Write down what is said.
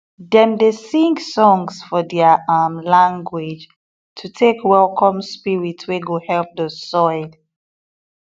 dem dey sing songs for their um language to take welcome spirit wey go help the soil